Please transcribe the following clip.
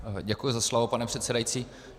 Děkuji za slovo, pane předsedající.